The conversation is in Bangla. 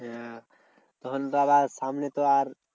হ্যাঁ তখন তো আবার সামনে তো আর